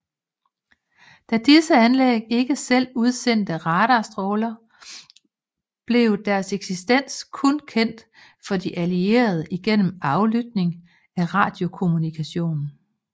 Da disse anlæg ikke selv udsendte radarstråler blev deres eksistens kun kendt for de allierede igennem aflytning af radiokommunikation